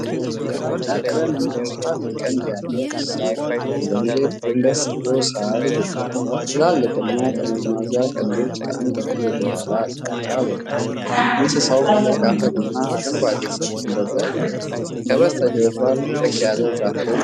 ግራጫ ቀለም እና ሰፋፊ ቀንድ ያለው እንስሳት ወደ መሬት ጎንበስ ብሎ ሳር ይግጣል። ትላልቅና ጠመዝማዛ ቀንዶች ከአንገቱ ወደ ኋላ አቅጣጫ ወጥተዋል። እንስሳው በደረቅ አፈርና አረንጓዴ ሳር ድንበር ላይ ይገኛል። ከበስተጀርባ ጥቅጥቅ ያለ የዛፍ ደን ይታያል።